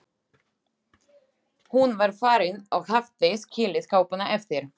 Hún var farin og hafði skilið kápuna eftir.